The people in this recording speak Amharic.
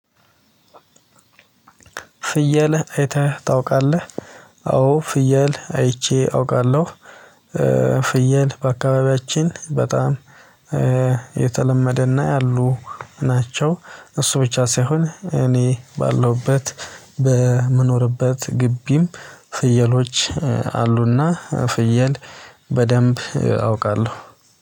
ፍየል አይተህ ታውቃለህ? አዎ ፍየል አይቼ አውቃለሁ። ፍየል በአካባቢያችን በጣም የተለመደና ያሉ ናቸው። እሱ ብቻ ሳይሆን እኔ ባለሁበት በምኖርበት ግቢም ፍየሎች። አሉና ፍየል በደንብ አውቃለሁ